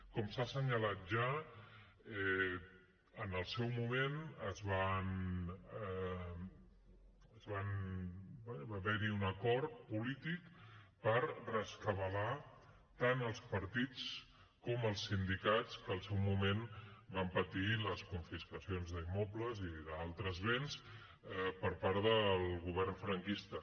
com s’ha assenyalat ja en el seu moment va haver hi un acord polític per rescabalar tant els partits com els sindicats que al seu moment van patir les confiscacions d’immobles i d’altres béns per part del govern franquista